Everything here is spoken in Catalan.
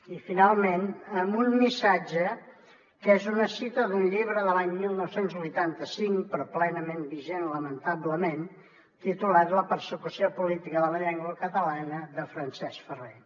i finalment amb un missatge que és una cita d’un llibre de l’any dinou vuitanta cinc però plenament vigent lamentablement titulat la persecució política de la llengua catalana de francesc ferrer